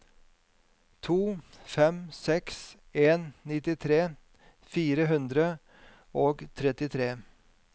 to fem seks en nittitre fire hundre og trettitre